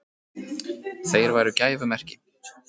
Þeir væru gæfumerki.